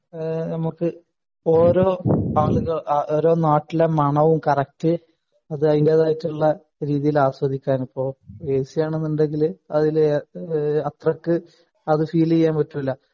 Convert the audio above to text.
ഏഹ് നമുക്ക് ഓരോ ആളുകൾ ഓരോ നാട്ടിലെ മണവും കറക്റ്റ് അത് അതിന്റേതായിട്ടുള്ള രീതിയിൽ ആസ്വദിക്കാൻ ഇപ്പൊ ഏസി ആണെനുണ്ടെങ്കിൽ അതില് ഈഹ് അത്രക്ക് അത് ഫീൽ ചെയ്യാൻ പറ്റില്ല